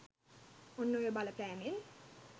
ඔන්න ඔය බලපෑමෙන්